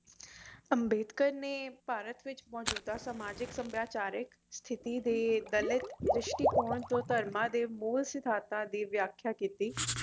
ਅੰਬੇਡਕਰ ਨੇ ਭਾਰਤ ਵਿਚ ਮੌਜੂਦਾ ਸਮਾਜਿਕ ਸੱਭਿਆਚਾਰਕ ਸਥਿਤੀ ਦੇ ਦਲਿਤ ਦ੍ਰਿਸ਼ਟੀਕੋਣ ਤੋਂ ਧਰਮਾ ਦੇ ਮੂਲ ਸਿਧਾਂਤਾਂ ਦੀ ਵਿਆਖਿਆ ਕੀਤੀ